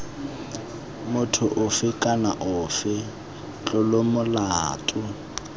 motho ofe kana ofe tlolomolato